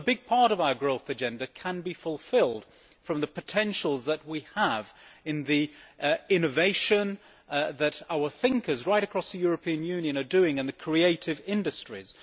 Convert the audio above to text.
Well, a big part of our growth agenda can be fulfilled from the potentials that we have in innovation and what our thinkers right across the European Union are doing in the creative industries.